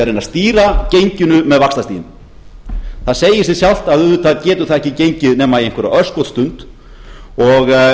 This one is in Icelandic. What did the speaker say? reyna að stýra genginu með vaxtastiginu það segir sig sjálft að auðvitað getur það ekki gengið nema í einhverja örskotsstund og og